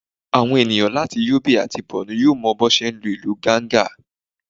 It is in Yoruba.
àwọn enìyan latí yobe atí Bornu yọọ mo bí wọn ti ń lu ilù Ganga